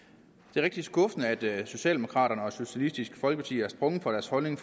det er rigtig skuffende at socialdemokraterne og socialistisk folkeparti er sprunget fra deres holdning